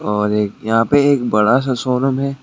और एक यहां पे एक बड़ा सा शोरूम है।